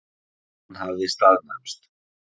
Hann hafði staðnæmst.